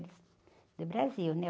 Do Brasil, né?